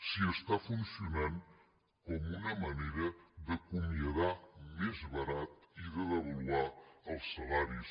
si està funcionant com una manera d’acomiadar més barat i de devaluar els salaris